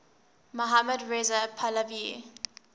mohammad reza pahlavi